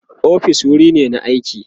ofis wuri ne na aiki